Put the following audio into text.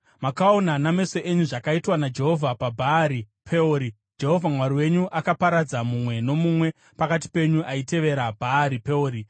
Makaona nameso enyu zvakaitwa naJehovha paBhaari Peori, Jehovha Mwari wenyu akaparadza mumwe nomumwe pakati penyu aitevera Bhaari Peori.